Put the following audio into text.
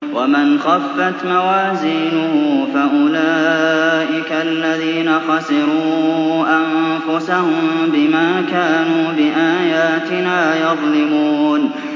وَمَنْ خَفَّتْ مَوَازِينُهُ فَأُولَٰئِكَ الَّذِينَ خَسِرُوا أَنفُسَهُم بِمَا كَانُوا بِآيَاتِنَا يَظْلِمُونَ